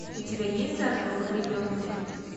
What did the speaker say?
у тебя есть заживо погребенные